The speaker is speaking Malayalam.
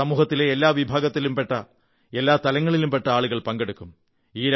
ഇതിൽ സമൂഹത്തിലെ എല്ലാ വിഭാഗത്തിലും പെട്ട എല്ലാ തലങ്ങളിലും പെട്ട ആളുകൾ പങ്കെടുക്കും